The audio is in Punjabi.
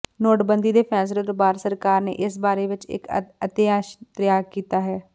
ਨੋਟਬੰਦੀ ਦੇ ਫੈਸਲੇ ਤੋਂ ਬਾਅਦ ਸਰਕਾਰ ਨੇ ਇਸ ਬਾਰੇ ਵਿੱਚ ਇੱਕ ਅਧਿਆਦੇਸ਼ ਤਿਆਰ ਕੀਤਾ ਹੈ